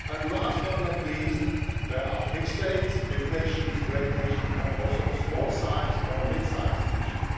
Last, but not least, there are big states, big nations, great nations, but also small or midsize nations.